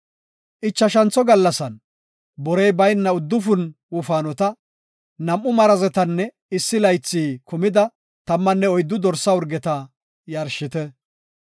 “Ichashantho gallasan borey bayna uddufun wofaanota, nam7u marazetanne issi laythi kumida tammanne oyddu dorsa urgeta yarshite.